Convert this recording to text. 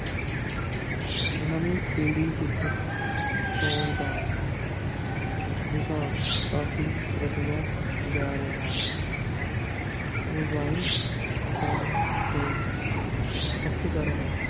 ਨਵੀਂ ਪੀੜ੍ਹੀ ਵਿੱਚ ਫ਼ੋਨ ਦਾ ਰੁਝਾਨ ਕਾਫ਼ੀ ਵੱਧਦਾ ਜਾ ਰਿਹਾ ਹੈ mobile phone ਦੇ ਖ਼ਪਤਕਾਰਾਂ